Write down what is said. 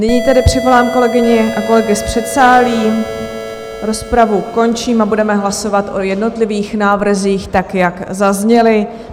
Nyní tedy přivolám kolegyně a kolegy z předsálí, rozpravu končím a budeme hlasovat o jednotlivých návrzích tak, jak zazněly.